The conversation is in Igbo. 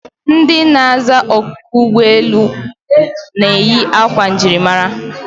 Ndị na-aza oku n'ụgbọelu na-eyi akwa njirimara